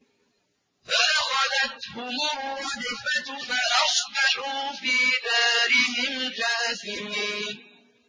فَأَخَذَتْهُمُ الرَّجْفَةُ فَأَصْبَحُوا فِي دَارِهِمْ جَاثِمِينَ